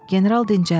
General dincəldi.